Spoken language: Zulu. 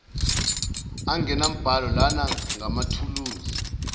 angenambhalo lana ngamathuluzi